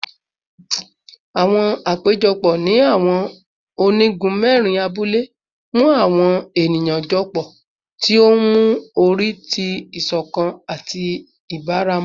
Awọn apejọpọ ni awọn onigun mẹrin abule mu awọn eniyan jọpọ, ti o nmu ori ti iṣọkan ati ibaramu